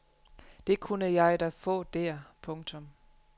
Det kunne jeg da få der. punktum